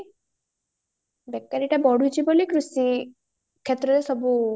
ବେକାରୀଟା ବଢୁଚି ବୋଲି କୃଷି କ୍ଷେତ୍ରରେ ସବୁ